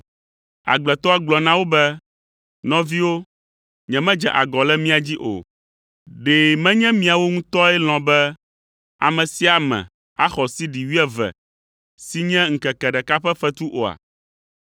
“Agbletɔa gblɔ na wo be, ‘Nɔviwo, nyemedze agɔ le mia dzi o; ɖe menye miawo ŋutɔe lɔ̃ be ame sia ame axɔ sidi wuieve si nye ŋkeke ɖeka ƒe fetu oa?